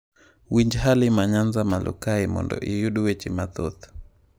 Winj Halima Nyanza malo kae mondo iyud weche mathoth.